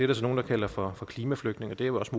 der så nogle der kalder for klimaflygtninge og det er jo også